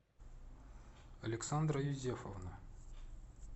александра юзефовна